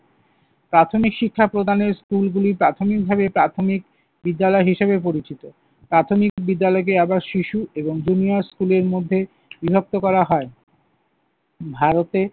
প্রাথমিক শিক্ষা প্রদানের স্কুলগুলি প্রাথমিকভাবে প্রাথমিক বিদ্যালয় হিসেবে পরিচিত। প্রাথমিক বিদ্যালয়কে আবার শিশু এবং junior school এর মধ্যে বিভক্ত করা হয়। ভারতে